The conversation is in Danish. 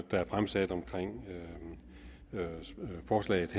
der er fremsat omkring forslaget